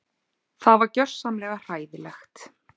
Það var gjörsamlega hræðilegt